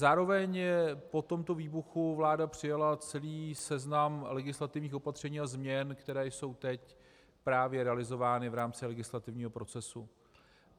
Zároveň po tomto výbuchu vláda přijala celý seznam legislativních opatření a změn, které jsou teď právě realizovány v rámci legislativního procesu.